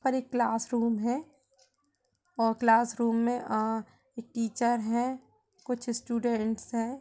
और एक क्लासरूम है और क्लासरूम में अ एक टीचर है कुछ स्टूडेंट्स है।